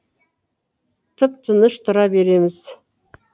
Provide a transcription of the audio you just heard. тып тыныш тұра береміз